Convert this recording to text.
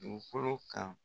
Dugukolo kan.